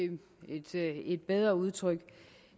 et bedre udtryk